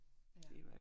Ja